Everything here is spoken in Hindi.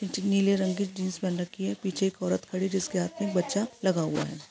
नीले रंग की जीन्स पहन रखी है पीछे एक औरत खड़ी है जिसके हाथ मे बच्चा लगा हुआ हैँ।